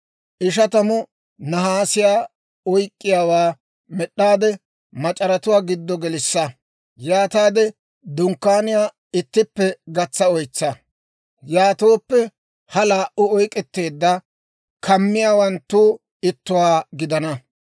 Ishatamu nahaasiyaa oyk'k'iyaawaa med'd'aade, mac'aratuwaa giddo gelissa; yaataade dunkkaaniyaa ittippe gatsa oytsa. Yaatooppe ha laa"u oyk'k'etteedda kamiyaawanttu ittuwaa gidana.